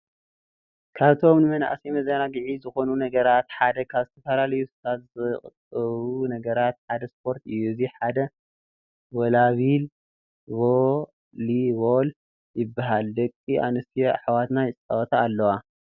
ካብቶም ንመንኣሰይ መዘናግዒ ዝኮኑ ነገራት ሓደ ካብ ዝተፈላለዩ ሱሳት ዝቁጠቡ ነገራት ሓደ ስፖርት እዩ። እዚ ድማ ቮሊቮል ይበሃል። ደቂ ኣንስትዮ ኣሕዋትና ይጻወታ ኣለዋ።